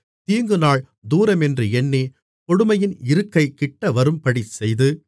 தீங்குநாள் தூரமென்று எண்ணிக் கொடுமையின் இருக்கை கிட்டவரும்படிச் செய்து